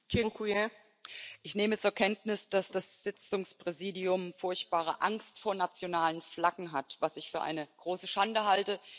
Frau Präsidentin! Ich nehme zur Kenntnis, dass das Sitzungspräsidium furchtbare Angst vor nationalen Flaggen hat, was ich für eine große Schande halte.